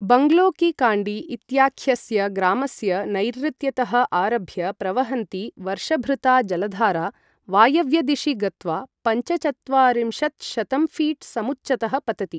बङ्गलो की काण्डी इत्याख्यस्य ग्रामस्य नैर्ऋत्यतः आरभ्य प्रवहन्ती वर्षभृता जलधारा, वायव्यदिशि गत्वा पञ्चचत्वारिंशत्शतंफीट् समुच्चतः पतति।